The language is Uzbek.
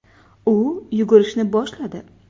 U yugurishni boshladi.